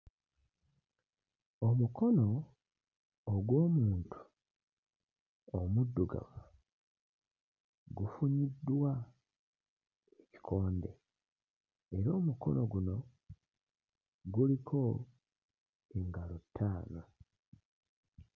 Omukono ogw'omuntu omuddugavu gufunyiddwa kkonde era omukono guno guliko engalo ttaano.